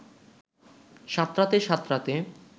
সাঁতরাতে সাঁতরাতে